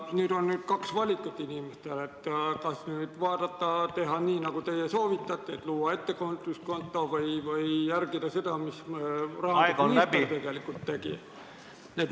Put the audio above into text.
Tegelikult on inimestel kaks valikut: kas teha nii, nagu teie soovitate, ehk siis luua ettevõtluskonto, või järgida seda, mida rahandusminister tegi.